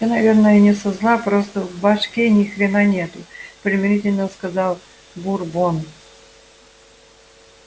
ты наверное не со зла просто в башке ни хрена нету примирительно сказал бурбон